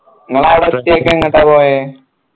ഇങ്ങളവിടെ എത്തീട്ട് എങ്ങട്ടാ പോയെ